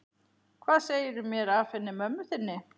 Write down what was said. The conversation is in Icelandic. Hvað segirðu mér af henni mömmu þinni?